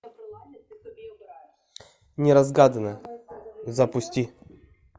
неразгаданное запусти